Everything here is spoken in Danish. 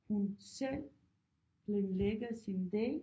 Hun selv planlægger sin dag